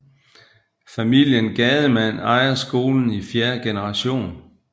Familien Gademann ejer skolen i fjerde generation